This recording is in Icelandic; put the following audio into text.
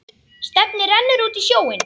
Stefnið rennur út í sjóinn.